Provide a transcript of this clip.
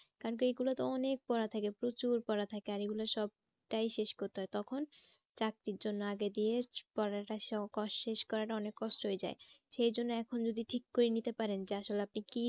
কারণ কি এই গুলোতে অনেক পড়া থাকে প্রচুর পড়া থাকে আর এগুলা সবটাই শেষ করতে হয় তখন চাকরির জন্য আগে পড়াটা শেষ করাটা অনেক কষ্ট হয়ে যায়। সেই জন্য এখন যদি ঠিক করে নিতে পারেন যে আসলে আপনি কি